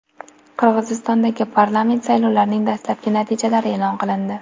Qirg‘izistondagi parlament saylovlarining dastlabki natijalari e’lon qilindi.